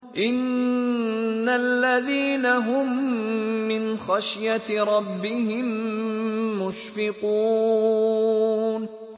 إِنَّ الَّذِينَ هُم مِّنْ خَشْيَةِ رَبِّهِم مُّشْفِقُونَ